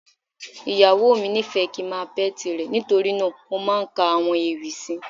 Ìyàwó mi nífẹ̀ẹ́ kíi ń máa pẹ́ti rẹ̀, nítorí náà mo máa ń ka àwọn ewì sí i.